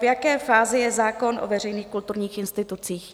V jaké fázi je zákon o veřejných kulturních institucích?